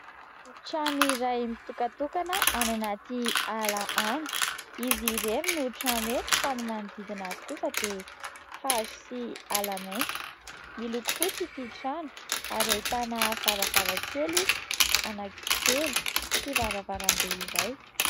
Trano iray mitokatokana, any anaty ala any. Izy irery no trano eto, fa ny manodidina azy kosa dia hazo sy ala maintso. Miloko fotsy ity trano ; ary ahitana varavara-kely anankitelo sy varavaram-be iray.